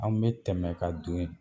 An me tɛmɛ ka don yen